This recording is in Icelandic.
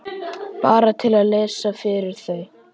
Bara til að lesa fyrir þau.